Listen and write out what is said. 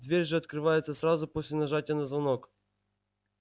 дверь же открывается сразу после нажатия на звонок